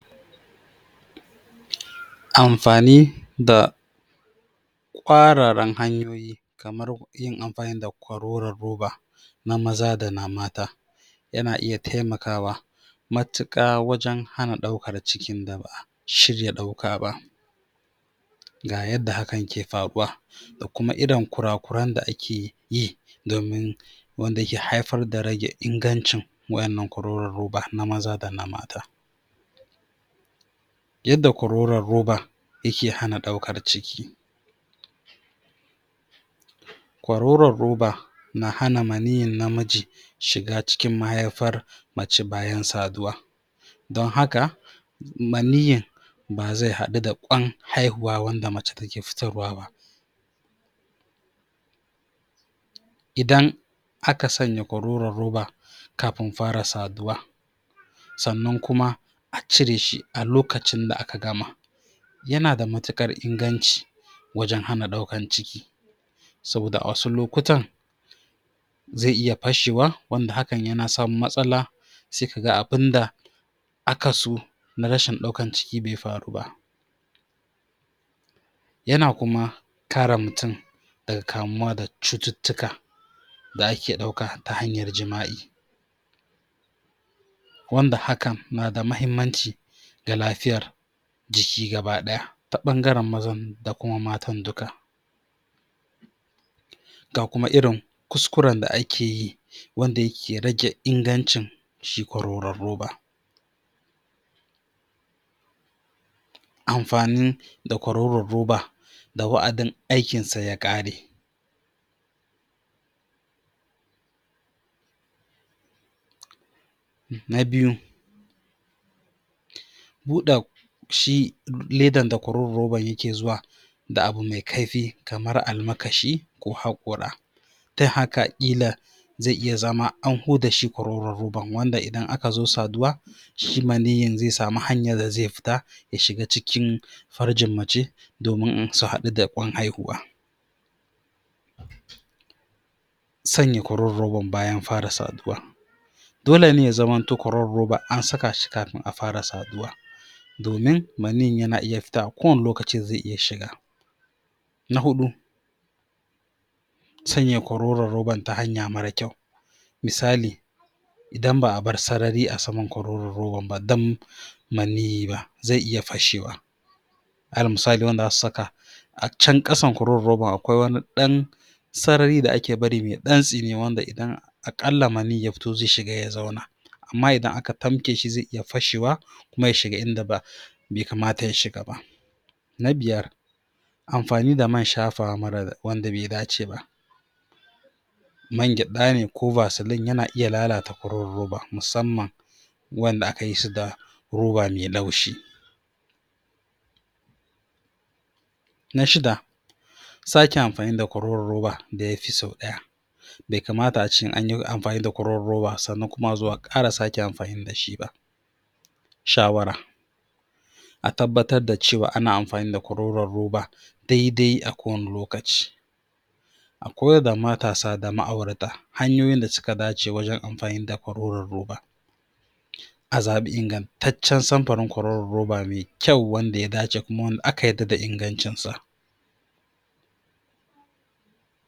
Amfani da ƙwararan hanyoyi kamar yin amfani da kwaroron roba na maza da na mata yana iya taimakawa matuƙa wajen hana ɗaukar cikin da ba a shirya ɗauka ba ga yadda hakan ke faruwa da kuma irin da kura-kuran da ake yi domin wanda ke haifar da rage ingancin wannan kororon roba na maza da na mata. Yadda kwaroron roba yake hana ɗaukar ciki: Kwaroron roba na hana maniyyin namiji shiga cikin mahaifar mace bayan saduwa. Don haka, maniyyin ba zai haɗu da ƙwan haihuwa wanda mace take fitarwa ba. Idan aka sanya kwaroron roba kafin fara saduwa sannan kuma a cire shi a lokacin da aka gama yana da matuƙar inganci wajen hana ɗaukar ciki saboda a wasu lokutan zai iya fashewa wanda hakan yana samun matsala sai ka ga abin da aka so na rashin ɗaukan ciki bai faru ba. Yana kuma kare mutum daga kamuwa da cututtuka da ake ɗauka ta hanyar jima'i. Wanda hakan na da muhimmanci ga lafiyar jiki gaba ɗaya ta ɓangaren mazan da kuma matan duka. Ga kuma irin kuskuren da ake yi wanda yake rage ingancin shi kwaroron roba Amfani da kwaroron roba da wa'adin aikinsa ya ƙare Na biyu, buɗe shi ledan da kwaroron roban yake zuwa da abu mai kaifi, kamar almakashi ko haƙora ta yin hakan ƙila zai iya zama an huda shi kwaroron roban wanda idan aka zo saduwa shi maniyyin zai samu hanyan da zai fita ya shiga cikin farjin mace domin su haɗu da ƙwan haihuwa. Sanya kwaroron roban bayan fara saduwa. Dole ne ya zamanto an saka shi kafin a fara saduwa. domin maniyyin yana iya fita a kowane zai iya shiga. Na huɗu, sanya kwaroron roban ta hanya marar kyau. Misali, idaan ba a bar sarari a saman kwaroron robar ba don maniyyi ba, zai iya fashewa alal misali, wanda za su saka a can ƙasan kwaroron robar akwai wani ɗan sarari da ake bari mai ɗan tsini wanda idan aƙalla maniyyi ya fito zai shiga ya zauna Amma idan aka tamke shi, zai iya fashewa kuma ya shiga inda bai kamata ya shiga ba. Na biyar, amfani da man shafawa marar, wanda bai dace ba mangyaɗa ne ko basilin yana iya lalata kwaroron roba musamman wanda aka yi su da roba mai laushi. Na shida, sake yin amfani da kwaroron roba da ya fi sau ɗaya. Bai kamata a ce in an yi amfani da kwaroron roba sannna kuma a zo a ƙara amfani da shi ba. Shawara: a tabbatar da cewa ana amfani da kwaroron roba daidai a kowane lokaci. A koyar da matasa hanyoyin da suka dace wajen yin amfani da kwaroron roba. A zaɓi ingantaccen samfurin kwaroron roba mai kyau wanda ya dace kuma wanda aka yarda da ingancinsa.